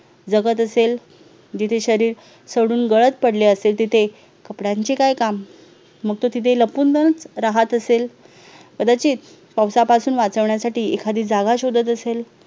जगत असेल जिथे शरीर सडून गळत पडले असेल तिथे कपड्यांचे काय काम मग तो तिथे फक्त तिथे लपून जाऊन राहत असेल कदाचित पावसापासून वाचवण्यासाठी एखादी जागा शोधत असेल